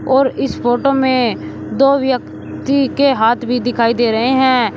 और इस फोटो में दो व्यक्ति के हाथ भी दिखाई दे रहे हैं।